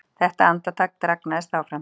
Þetta andartak dragnaðist áfram.